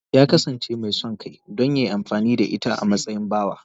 Ya kasance mai son kai don ya yi amfani da ita a matsayin bawa.